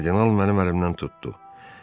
Kardinal mənim əlimdən tutdu.